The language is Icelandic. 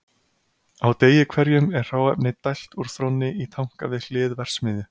Á degi hverjum er hráefni dælt úr þrónni í tanka við hlið verksmiðju.